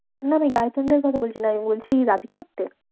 না আমি girlfriend এর কথা বলছি না, আমি বলছি রাধিকাপ্তে?